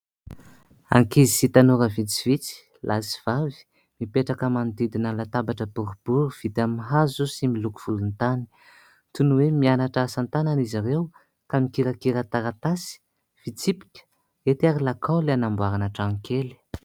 Ankizy sy tanora vitsivitsy lahy sy vavy, mipetraka manodidina ny latabatra boribory vita amin'ny hazo sy miloko volontany; toy ny hoe mianatra asan-tanana izy ireo ka mikirakira taratasy, fitsipika, hety ary lakaoly hanamboarana tranokely.